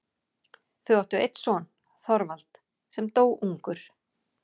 Þau áttu einn son, Þorvald, sem dó ungur.